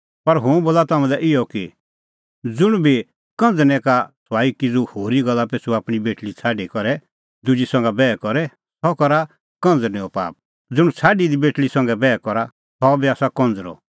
पर हुंह बोला तम्हां लै इहअ कि ज़ुंण बी कंझ़रनै का सुआई किज़ू होरी गल्ला पिछ़ू आपणीं बेटल़ी छ़ाडी करै दुजी संघा बैह करे सह करा कंझ़रनेओ पाप ज़ुंण छ़ाडी दी बेटल़ी संघै बैह करा सह बी आसा कंज़रअ